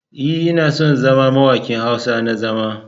E,, ina so in zama mawaƙi Hausa na zama.